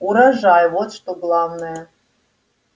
урожай вот что главное